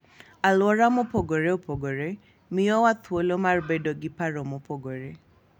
Alwora mopogore opogore miyowa thuolo mar bedo gi paro mopogore.